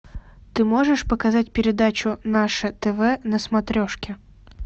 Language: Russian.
ты можешь показать передачу наше тв на смотрешке